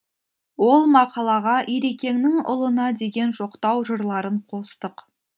ол мақалаға ирекеңнің ұлына деген жоқтау жырларын қостық